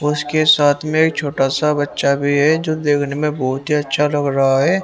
उसके साथ में एक छोटा सा बच्चा भी है जो देखने में बहुत ही अच्छा लग रहा है।